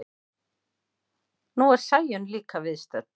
Nú er Sæunn líka viðstödd.